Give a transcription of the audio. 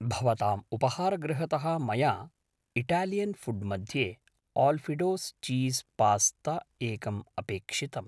भवताम् उपहारगृहतः मया इटालियन् फुड् मध्ये आल्फिडोस् चीस् पास्त एकम् अपेक्षितम्